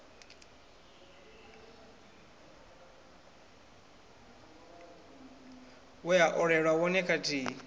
we a olelwa wone kathihi